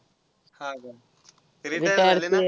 हा का? ते retire झाले ना?